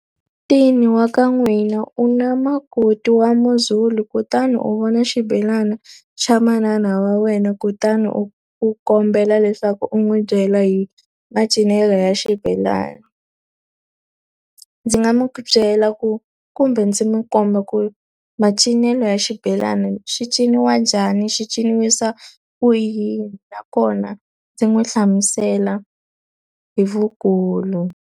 wa ka n'wina u na makoti wa Muzulu, kutani a vona xibelani xa manana wa wena kutani u u kombela leswaku u n'wi byela hi macinelo ya xibelani. Ndzi nga n'wi byela ku kumbe ndzi n'wi komba ku macinelo ya xibelani xi ciniwa njhani, xi ciniwisa ku yini nakona ndzi n'wi hlamusela hi vukulu.